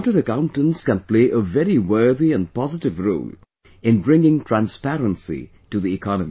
Chartered Accountants can play a very worthy and positive role in bringing transparency to the economy